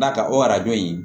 Da o arajo in